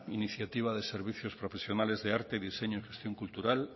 iniciativa de servicios profesionales de arte y diseño en gestión cultural